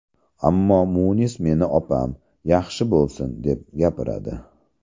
Ammo Munis meni opam, yaxshi bo‘lsin, deb gapiradi.